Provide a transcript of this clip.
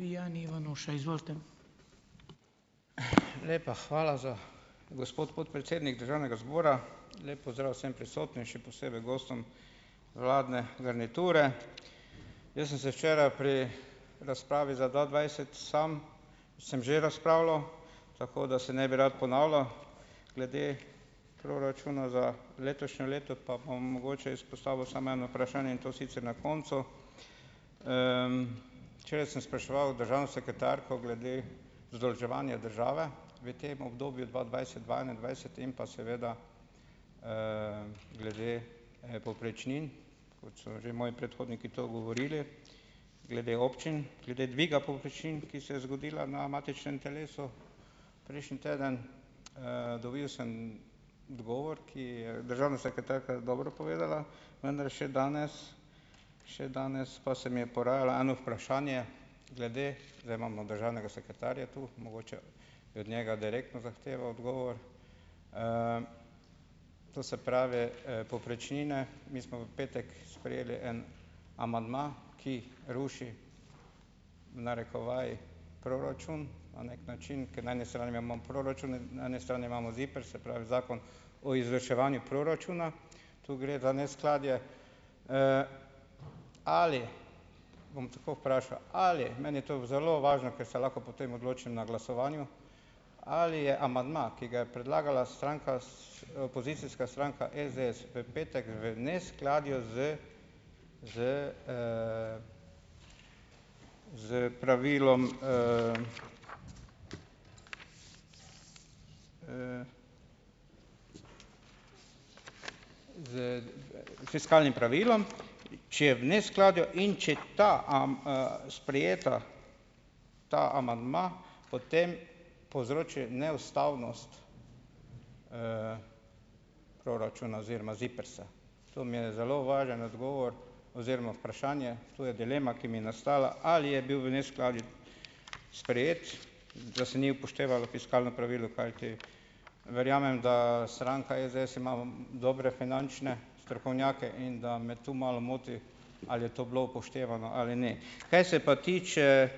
Ivanuša, izvolite. , lepa hvala za, gospod podpredsednik državnega zbora. Lep pozdrav vsem prisotnim, še posebej gostom vladne garniture. Jaz sem se včeraj pri razpravi za dva dvajset samo, sem že razpravljal, tako da se ne bi rad ponavljal, glede proračuna za letošnje leto pa bom mogoče izpostavil samo eno vprašanje, in to sicer na koncu. včeraj sem spraševal državno sekretarko glede zadolževanja države v tem obdobju dva dvajset-dva enaindvajset in pa seveda, glede, povprečnin, kot so že moji predhodniki to govorili, glede občin, glede dviga povprečnin, ki se je zgodila na matičnem telesu prejšnji teden. dobil sem odgovor, ki je državna sekretarka dobro povedala, vendar še danes, še danes pa se mi je porajalo eno vprašanje glede, zdaj imamo državnega sekretarja tu, mogoče bi od njega direktno zahteval odgovor. to se pravi, povprečnine, mi smo v petek sprejeli en amandma, ki ruši, v narekovajih, proračun na neki način, ker na eni strani proračun in na eni strani imamo ZIPRS, se pravi, Zakon o izvrševanju proračuna. Tu gre za neskladje. ali, bom tako vprašal, ali, meni to zelo važno, ker se lahko potem odločim na glasovanju, ali je amandma, ki ga je predlagala stranka opozicijska stranka SDS, v petek, v neskladju z, s, s pravilom, , s s fiskalnim pravilom, če je v neskladju in če ta sprejet, ta amandma, potem povzroči neustavnost, proračuna oziroma ZIPRS-a. To mi je zelo važen odgovor oziroma vprašanje, tu je dilema, ki mi nastala, ali je bil v neskladju sprejet, da se ni upoštevalo fiskalno pravilo, kajti verjamem, da stranka SDS ima dobre finančne strokovnjake, in da me tu malo moti, ali je to bilo upoštevano ali ne. Kaj se pa tiče,